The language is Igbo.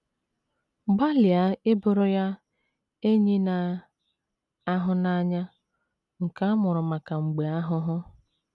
Gbalịa ịbụrụ ya “ enyi na - ahụ n’anya, ” nke ‘ a mụrụ maka mgbe ahụhụ. ’